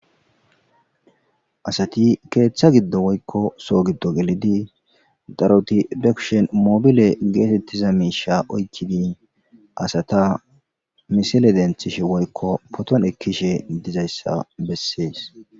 Asati keeththa giddo woykko soo giddo gelidi daroti bekushen mobile geetettiza miisha oykkidi asata misile denthish woykko poton ekkishe dizayssa bessees.